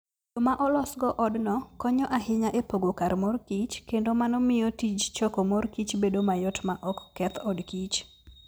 Yo ma olosgo odno konyo ahinya e pogo kar mor kich, kendo mano miyo tij choko mor kich bedo mayot maok keth od kich.